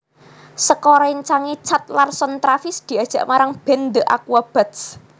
Saka réncange Chad Larson Travis diajak marang band The Aquabats